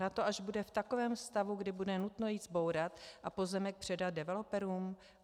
Na to, až bude v takovém stavu, kdy bude nutno jej zbourat a pozemek předat developerům?